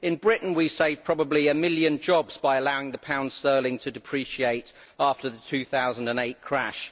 In Britain, we saved probably a million jobs by allowing the pound sterling to depreciate after the 2008 crash.